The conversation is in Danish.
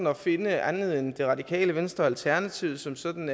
at finde andre end det radikale venstre og alternativet som sådan